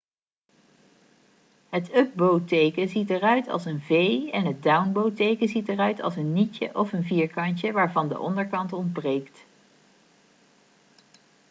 het up-bow teken ziet eruit als een v en het down-bow teken ziet eruit als een nietje of een vierkantje waarvan de onderkant ontbreekt